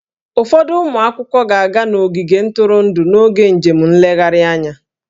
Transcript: Ụfọdụ ụmụ akwụkwọ ga-aga n'ogige ntụrụndụ n'oge njem nlegharị anya